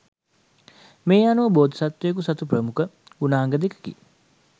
මේ අනුව බෝධි සත්වයකු සතු ප්‍රමුඛ ගුණාංග දෙකකි